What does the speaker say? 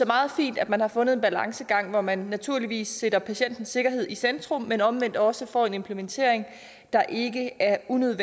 meget fint at man har fundet en balancegang hvor man naturligvis sætter patientens sikkerhed i centrum men omvendt også får en implementering der ikke er unødig